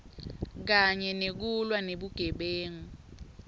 kanye nekulwa nebugebengu